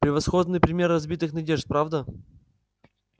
превосходный пример разбитых надежд правда